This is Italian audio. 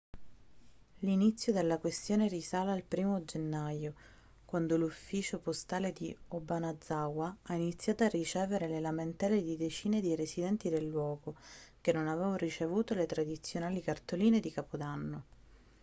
l'inzio della questione risale al 1° gennaio quando l'ufficio postale di obanazawa ha iniziato a ricevere le lamentele di decine di residenti del luogo che non avevano ricevuto le tradizionali cartoline di capodanno